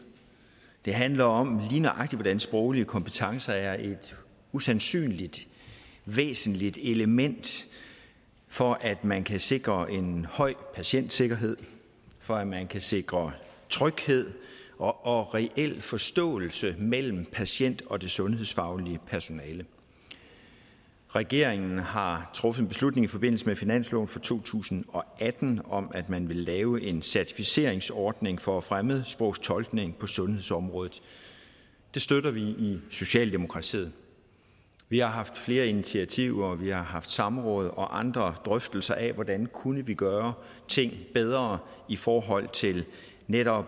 det handler om lige nøjagtig hvordan sproglige kompetencer er et usandsynlig væsentligt element for at man kan sikre en høj patientsikkerhed for at man kan sikre tryghed og og reel forståelse mellem patient og det sundhedsfaglige personale regeringen har truffet en beslutning i forbindelse med finansloven for to tusind og atten om at man vil lave en certificeringsordning for fremmedsprogstolkning på sundhedsområdet det støtter vi i socialdemokratiet vi har haft flere initiativer og vi har haft samråd og andre drøftelser af hvordan vi kunne gøre ting bedre i forhold til netop